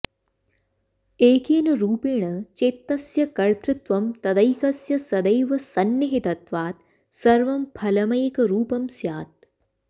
एकेन रूपेण चेत्तस्य कतृत्वं तदैकस्य सदैव सन्निहितत्वात् सर्वं फलमेकरूपं स्यात्